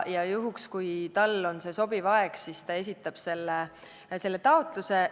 Juhul, kui talle see aeg sobib, siis ta esitab taotluse.